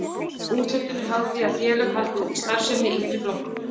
Úthlutun er háð því að félög haldi úti starfsemi í yngri flokkum.